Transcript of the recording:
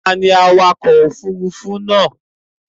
Ta ni awakọ̀ òfurufú náà?